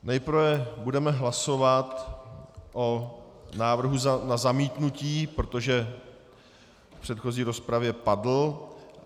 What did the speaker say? Nejprve budeme hlasovat o návrhu na zamítnutí, protože v předchozí rozpravě padl.